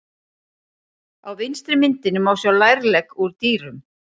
Á vinstri myndinni má sjá lærlegg úr dýrum.